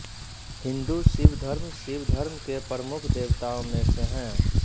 हिन्दू शिव घर्म शिवधर्म के प्रमुख देवताओं में से हैं